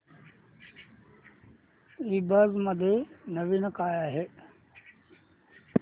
ईबझ मध्ये नवीन काय आहे